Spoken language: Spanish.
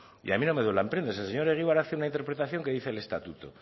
y mí no me duelen prendas el señor egibar hace una interpretación que dice el estatuto